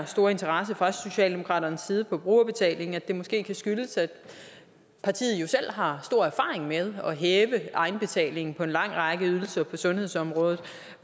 store interesse fra socialdemokratiets side for brugerbetaling måske kan skyldes at partiet jo selv har stor erfaring med at hæve egenbetalingen på en lang række ydelser på sundhedsområdet